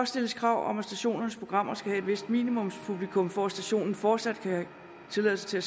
stilles krav om at stationernes programmer skal have et vist minimumspublikum for at stationen fortsat kan have tilladelse til at